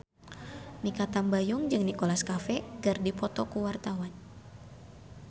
Mikha Tambayong jeung Nicholas Cafe keur dipoto ku wartawan